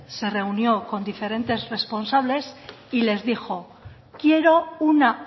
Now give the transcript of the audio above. se reunió con diferentes responsables y les dijo quiero una